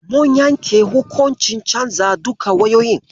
Mun yanke hukuncin canza duka wayoyin.